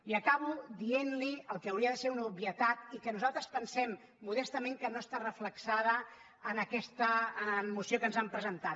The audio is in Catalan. i acabo dientli el que hauria de ser una obvietat i que nosaltres pensem modestament que no està reflectit en aquesta moció que ens han presentat